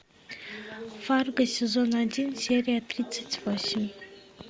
фарго сезон один серия тридцать восемь